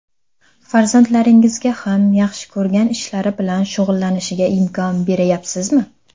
Farzandlaringizga ham yaxshi ko‘rgan ishlari bilan shug‘ullanishga imkon berayapsizmi?